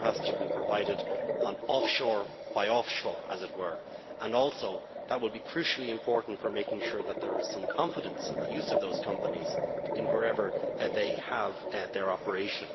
It now has to be provided offshore by offshore, as it were, and also that would be crucially important for making sure that there is some confidence in the use of those companies wherever they have their operation.